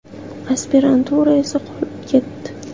Aspirantura esa qolib ketdi.